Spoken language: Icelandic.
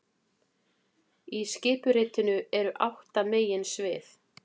Í skipuritinu eru átta meginsvið